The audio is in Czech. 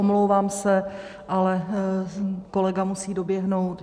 Omlouvám se, ale kolega musí doběhnout.